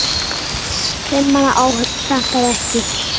Fimm manna áhöfn sakaði ekki.